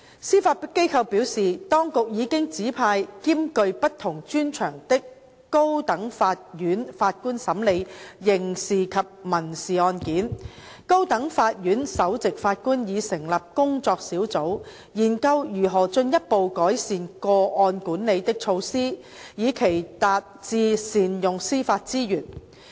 司法機構表示，當局已經指派兼具不同專長的高等法院法官審理刑事及民事案件，高等法院首席法官已成立工作小組研究如何進一步改善個案管理的措施，以期達致善用司法資源。